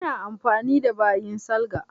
Ina amfani da bayin salga.